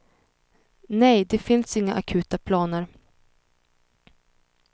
Nej, det finns inga akuta planer.